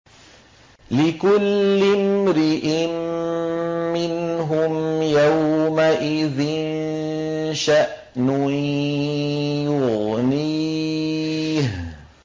لِكُلِّ امْرِئٍ مِّنْهُمْ يَوْمَئِذٍ شَأْنٌ يُغْنِيهِ